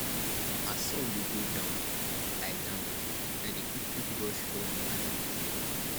as sun dey go down i down i dey quickquick brush all di animals dem